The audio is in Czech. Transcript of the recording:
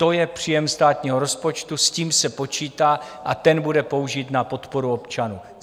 To je příjem státního rozpočtu, s tím se počítá a ten bude použit na podporu občanů.